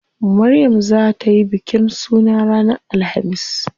Maryam zaa tayi bikin suna ranar alhamis.